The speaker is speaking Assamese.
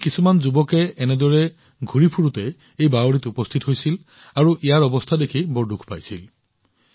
এদিন কিছুমান যুৱক এনেদৰে ঘূৰি ফুৰি এই বাৱড়ীলৈ আহিছিল আৰু ইয়াৰ অৱস্থা দেখি বৰ দুখ পাইছিল